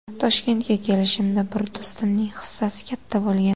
Toshkentga kelishimda bir do‘stimning hissasi katta bo‘lgan.